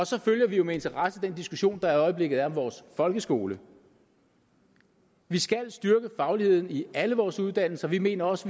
så følger vi jo med interesse den diskussion der i øjeblikket er om vores folkeskole vi skal styrke fagligheden i alle vores uddannelser vi mener også